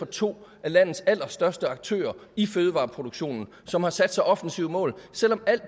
to af landets allerstørste aktører i fødevareproduktionen som har sat sig offensive mål selv om alt